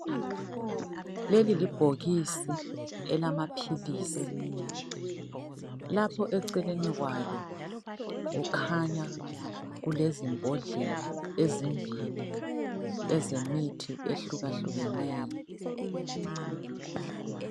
Leli libhokisi elamaphilisi lapha eceleni kwalo, kukhanya kulezimbodlela ezimbili ezemithi ehlukahlukeneyo.